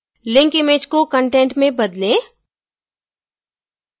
link image को content में बदलें